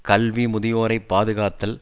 கல்வி முதியோரை பாதுகாத்தல்